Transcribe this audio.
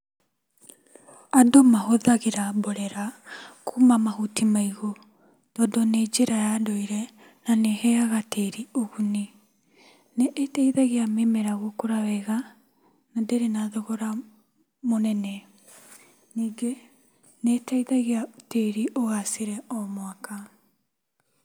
Andũ mahũthagĩra mborera kuuma mahuti maigũ tondũ nĩ njĩra ya ndũire na nĩ ĩheaga tĩri ũguni. Nĩ ĩteithagia mĩmera gũkũra wega na ndĩrĩ na thogora mũnene. Ningĩ nĩ ĩteithagia tĩri ũgacĩre o mwaka.